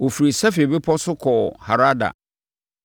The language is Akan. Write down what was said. Wɔfirii Sefer Bepɔ so kɔɔ Harada.